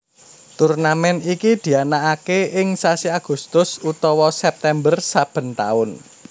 Turnamèn iki dianakaké ing sasi Agustus utawa September saben taun